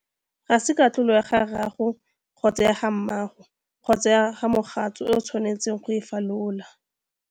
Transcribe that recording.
Ga se katlholo ya rrago, kgotsa ya mmago, kgotsa ya mogatso e o tshwanetseng go e falola.